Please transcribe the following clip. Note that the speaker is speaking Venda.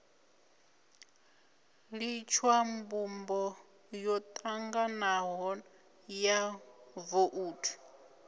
litshwa mbumbo yotanganaho ya vouthu